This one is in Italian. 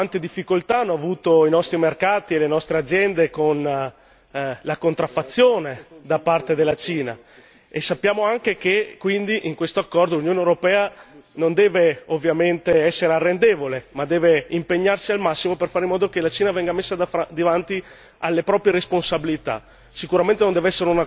Sappiamo quante difficoltà hanno avuto i nostri mercati e le nostre aziende con la contraffazione da parte della Cina e sappiamo anche che quindi in quest'accordo l'Unione europea non deve ovviamente essere arrendevole, ma deve impegnarsi al massimo per fare in modo che la Cina venga messa davanti alle proprie responsabilità.